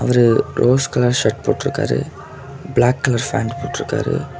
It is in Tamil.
இவரு ரோஸ் கலர் ஷர்ட் போட்ருக்காரு பிளாக் கலர் பேண்ட் போட்ருக்காரு.